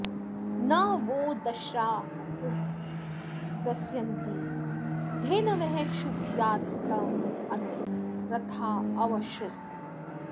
न वो॑ दस्रा॒ उप॑ दस्यन्ति धे॒नवः॒ शुभं॑ या॒तामनु॒ रथा॑ अवृथ्सत